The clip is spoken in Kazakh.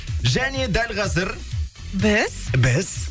және дәл қазір біз біз